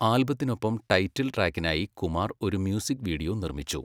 ആൽബത്തിനൊപ്പം title ട്രാക്കിനായി കുമാർ ഒരു music video നിർമ്മിച്ചു.